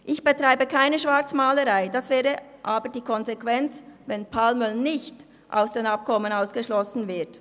Ich betreibe keine Schwarzmalerei, aber das wäre die Konsequenz, sollte Palmöl nicht aus den Abkommen ausgeschlossen werden.